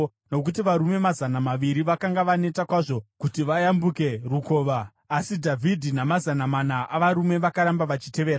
nokuti varume mazana maviri vakanga vaneta kwazvo kuti vayambuke rukova. Asi Dhavhidhi namazana mana avarume vakaramba vachitevera.